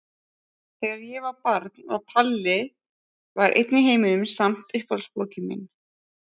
Þegar ég var barn var Palli var einn í heiminum samt uppáhaldsbókin mín.